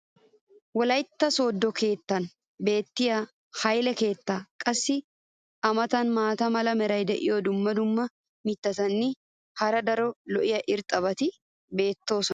wolaytta soodo kataman beetiya hayile keettaa. qassi a matan maata mala meray diyo dumma dumma mitatinne hara daro lo'iya irxxabati beetoosona.